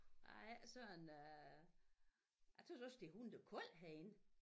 Jeg er ikke sådan øh jeg tøs også det er hundekoldt herinde